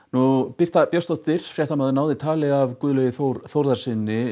Birta Björnsdóttir náði tali áðan af Guðlaugi Þór Þórðarsyni